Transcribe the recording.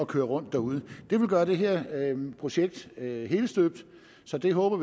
køre rundt derude det vil gøre det her projekt helstøbt så vi håber